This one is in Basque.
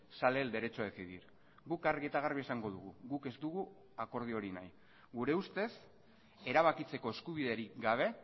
sale el derecho a decidir guk argi eta garbi esango dugu guk ez dugu akordio hori nahi gure ustez erabakitzeko eskubiderik gabe